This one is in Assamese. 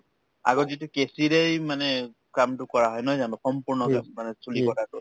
আগত যিটো কেঁচীৰেই মানে কামটো কৰা নহয় জানো সম্পূৰ্ণকে মানে চুলি কটাটো